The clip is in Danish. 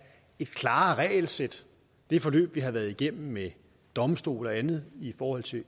et klarere regelsæt det forløb vi har været igennem med domstol og andet i forhold til